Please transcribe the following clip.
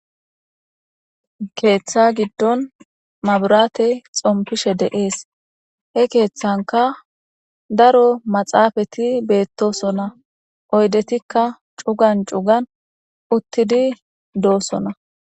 Ketha gidon mabirate xompishe de'ees he ketanka daro maxafeti betosona oyidetika cu'gan cu'gan utidi dosona